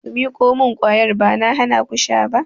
Ku miƙo mun kwayar! Ba na hanaku sha ba.